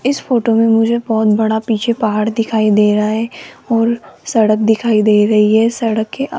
इस फोटो में मुझे बहोत बड़ा पीछे पहाड़ दिखाई दे रहा है और सड़क दिखाई दे रही है सड़क के --